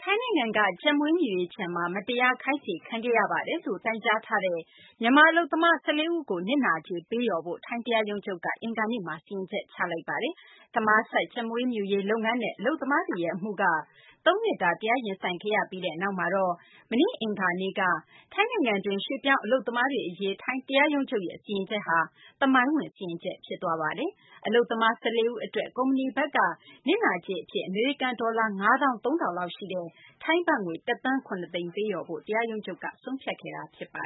ိုင်းနိုင်ငံက ကြက်မွေးမြူရေးခြံမှာ မတရားခိုင်းစေခံခဲ့ရတယ်လို့ တိုင်ကြားထားတဲ့ မြန်မာ အလုပ်သမား ၁၄ ဦးကို နစ်နာကြေးပေး လျော်ဖို့ ထိုင်းတရားရုံးချုပ်က အင်္ဂါနေ့မှာ စီရင်ချက် ချမှတ်လိုက်ပါတယ်။ Thammakaset ကြက်မွေးမြူရေး လုပ်ငန်းနဲ့ အလုပ်သမားတွေရဲ့ အမှုက သုံးနှစ်တာ တရားရင်ဆိုင်ခဲ့ရပြီးနောက်မှာတော့ မနေ့ အင်္ဂါနေ့က ထိုင်းနိုင်ငံတွင်းက ရွှေ့ပြောင်းအလုပ်သမားတွေ အရေး ထိုင်းတရားရုံးချုပ်ရဲ့ စီရင်ချက်က သမိုင်းဝင် စီရင်ချက်လည်း ဖြစ်ပါတယ်။ အလုပ်သမား ၁၄ ဦး အတွက် ကုမ္ပဏီဘက်က နစ်နာကြေးအဖြစ် အမေရိကန် ဒေါ်လာ ၅ သောင်း ၃ ထောင်လောက် ရှိတဲ့ ထိုင်းဘတ်ငွေ ၁ သန်း ၇ သိန်း ပေးလျော်ဖို့ တရားရုံးချုပ်က ဆုံးဖြတ်ခဲ့တာပါ